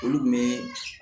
Olu kun bɛ